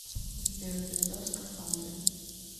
сбер пизда в скафандре